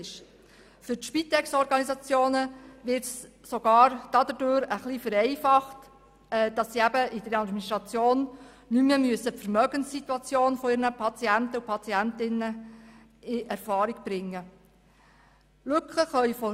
Für die Spitexorganisationen kommt es dadurch sogar zu einer Vereinfachung, sodass sie in der Administration nicht mehr die Vermögenssituation von ihren Patientinnen und Patienten in Erfahrung bringen müssen.